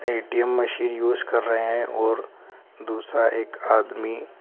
ATM machine use कर रहे हैं और दूसरा एक आदमी --